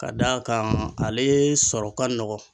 Ka d'a kan ale sɔrɔ ka nɔgɔn